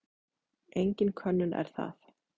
Engin könnun er það.